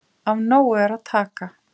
Af nógu er að taka